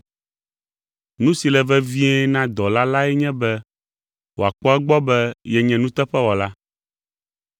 Nu si le vevie na dɔla lae nye be wòakpɔ egbɔ be yenye nuteƒewɔla.